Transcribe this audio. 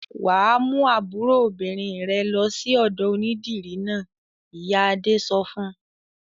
"Wà á mú àbúrò obìnrin rẹ lọ sí ọ̀dọ̀ onídìrí náà!" Ìyá Adé sọ fún un.